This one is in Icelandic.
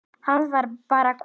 Hann var bara kominn.